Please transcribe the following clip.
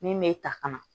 Min me ta ka na